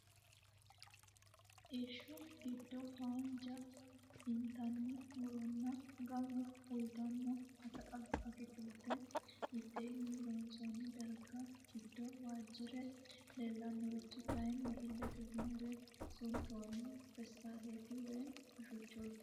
Irsha giddo haanja intanni muronna gumma uuyitanno akaakilte mitteenni loonsoonni darga. Giddo waajjire leellanorichi kaayinni illete gimbe suntoonni peestaaleti woy hoccooti.